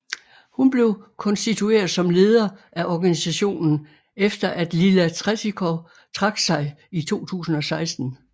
Hun blev konstitueret som leder af organisationen efter at Lila Tretikov trak sig i 2016